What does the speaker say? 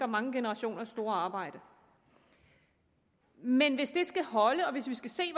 mange generationers store arbejde men hvis det skal holde og vi skal se